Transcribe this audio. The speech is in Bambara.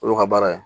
Olu ka baara ye